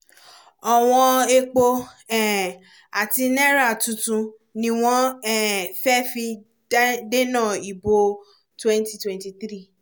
ọwọ̀n epo um àti náírà tuntun ni wọ́n um fẹ́ fi dá dénà ìbò twenty twenty three